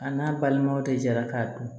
A n'a balimanw de jara k'a dun